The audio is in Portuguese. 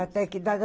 Até que idade?